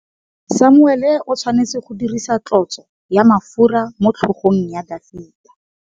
Samuele o tshwanetse go dirisa tlotsô ya mafura motlhôgong ya Dafita.